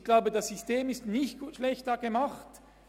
Ich glaube, das System ist nicht schlecht gemacht.